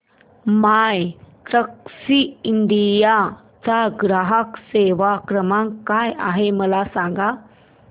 My Taxi India चा ग्राहक सेवा क्रमांक काय आहे मला सांग